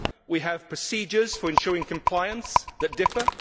We have procedures for ensuring compliance that differ.